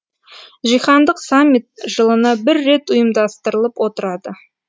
жиһандық саммит жылына бір рет ұйымдастырылып отырады